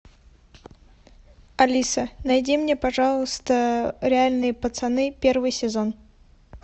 алиса найди мне пожалуйста реальные пацаны первый сезон